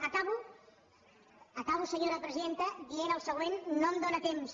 acabo senyora presidenta dient el següent no em dóna temps